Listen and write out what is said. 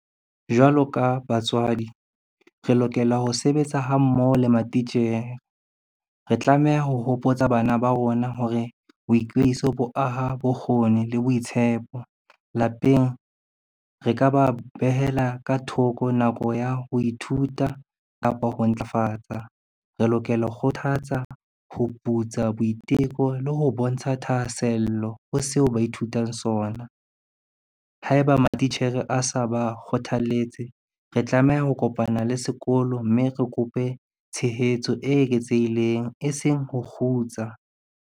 Jwalo ka batswadi, re lokela ho sebetsa ha mmoho le matitjhere. Re tlameha ho hopotsa bana ba rona hore, boikweiso bo aha bokgoni le boitshepo. Lapeng ke ka ba behela ka thoko nako ya ho ithuta kapa ho ntlafatsa, re lokela ho kgothatsa, ho putsa boiteko le ho bontsha thahasello ho seo ba ithutang sona. Haeba matitjhere a sa ba kgothalletse, re tlameha ho kopana le sekolo, mme re kope tshehetso e eketsehileng e seng ho kgutsa.